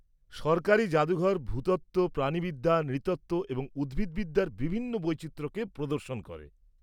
সরকারি জাদুঘর ভূতত্ত্ব, প্রাণিবিদ্যা, নৃতত্ত্ব এবং উদ্ভিদবিদ্যার বিভিন্ন বৈচিত্র্যকে প্রদর্শন করে।